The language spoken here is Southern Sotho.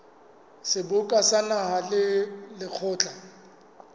seboka sa naha le lekgotla